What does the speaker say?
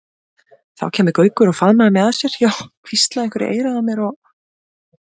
Þá kæmi Gaukur og faðmaði mig að sér, já hvíslaði einhverju í eyra mér og.